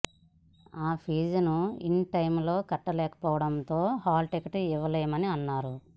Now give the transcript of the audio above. ఆ ఫీజును in time లో కట్టలేకపోవడంతో హాల్ టికెట్ ఇవ్వలేమని అన్నారు